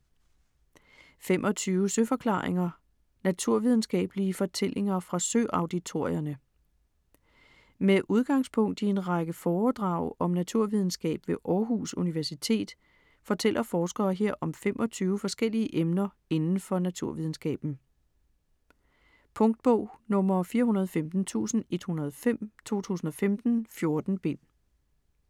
25 søforklaringer: naturvidenskabelige fortællinger fra Søauditorierne Med udgangspunkt i en række foredrag om naturvidenskab ved Århus Universitet fortæller forskere her om 25 forskellige emner indenfor naturvidenskaben. Punktbog 415105 2015. 14 bind.